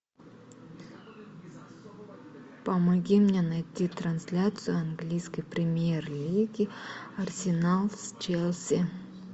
помоги мне найти трансляцию английской премьер лиги арсенал с челси